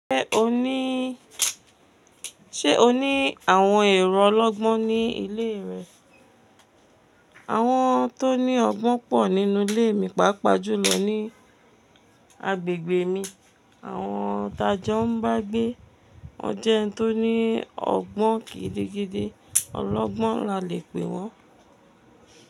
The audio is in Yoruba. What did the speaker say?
Ṣé o ní, ṣe o ní àwọn èrò ọlọ́gbọ́n ní ilé rẹ? Àwọn tó ní ọgbọ́n pọ̀ nínú ilé mi, pàápàá jùlọ ní agbègbè mi. Àwọn tájọ́ ń bá gbé. O jẹ́ ẹni tó ní ọgbọ́n gidigidi. Ọlọ́gbọ́n la le pé wọn.